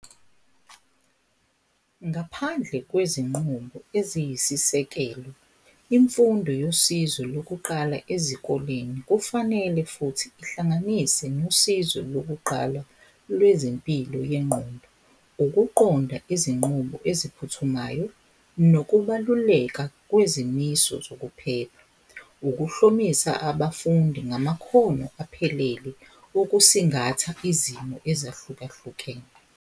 Ngaphandle kwezinqumo eziyisisekelo, imfundo yosizo lokuqala ezikoleni kufanele futhi ihlanganise nosizo lokuqala lwezempilo yengqondo. Ukuqonda izinqubo eziphuthumayo nokubaluleka kwezimiso zokuphepha. Ukuhlomisa abafundi ngamakhono aphelele okusingatha izimo ezahlukahlukene.